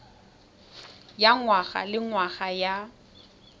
ya ngwaga le ngwaga ya